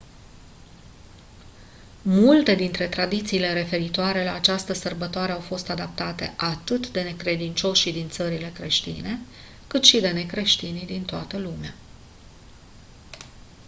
multe dintre tradițiile referitoare la această sărbătoare au fost adoptate atât de necredincioșii din țările creștine cât și de necreștinii din toată lumea